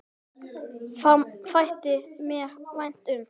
Það þætti mér vænt um